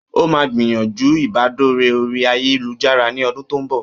Ó máa gbìyànjú ìbádọ̀rẹ́ oríi ayélujára ní ọdún tó ń bọ̀